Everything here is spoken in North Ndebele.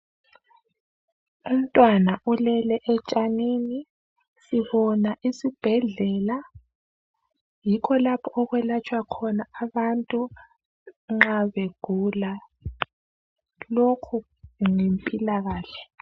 Umntwana olele etshanini, sibona isibhedlela yikho lapho okwelatshwa khona abantu nxa begula. Lokhu yimpilakahle